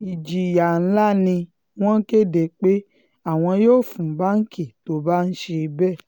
ìjìyà ńlá ni wọ́n kéde pé àwọn yóò fún báǹkì tó bá ń ṣe bẹ́ẹ̀